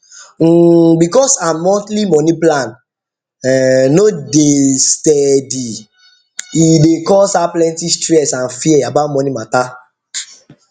um because her monthly money plan um no dey steady e dey cause her plenty stress and fear about money matter